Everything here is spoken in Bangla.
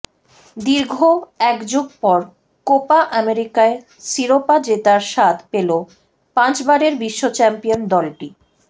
দীর্ঘ একযুগ পর কোপা আমেরিকায় শিরোপা জেতার স্বাদ পেলো পাঁচবারের বিশ্ব চ্যাম্পিয়ন দলটি